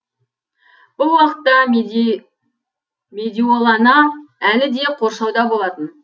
бұл уақытта медиолана әлі де қоршауда болатын